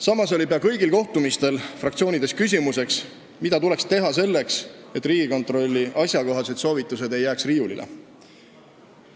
Samas kerkis peaaegu kõigil kohtumistel fraktsioonides üles küsimus, mida tuleks teha selleks, et Riigikontrolli asjakohased soovitused ei jääks riiulile.